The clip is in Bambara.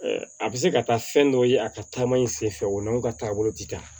a bɛ se ka taa fɛn dɔ ye a ka taama in senfɛ o n'aw ka taabolo ti kan